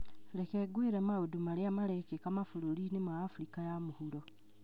Reke ngwĩre maũndũ marĩa marekĩka mabũrũri-inĩ ma Afrika ya mũhuro.